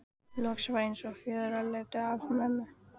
Loks var eins og fjötrar féllu af mömmu.